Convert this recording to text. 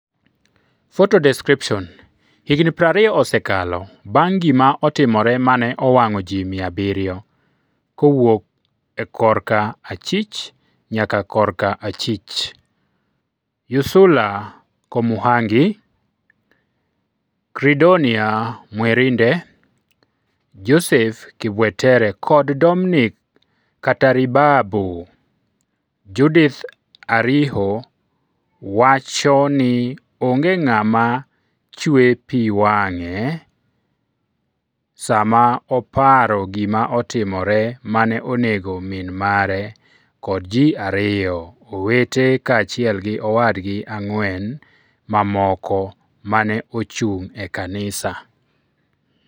Photo description, Higni 20 osekalo bang' gima otimore mane owang'o ji 700 (kowuok e korka achich nyaka korka achich) Ursula Komuhangi, Credonia Mwerinde, Joseph Kibwetere kod Dominic Kataribabo Judith Ariho wacho ni onge ng'ama chwe pi wang'e sama oparo gima otimore mane onego min mare kod ji ariyo owete kaachiel gi owadgi ang’wen mamoko ma ne ochung’ e kanisa.